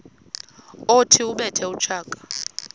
othi ubethe utshaka